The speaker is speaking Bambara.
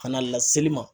Kana laseli ma